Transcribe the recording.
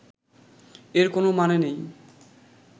এর কোনও মানে নেই